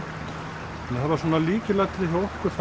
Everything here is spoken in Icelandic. það var lykilatriði hjá okkur